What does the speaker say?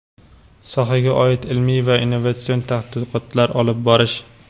sohaga oid ilmiy va innovatsion tadqiqotlar olib borish;.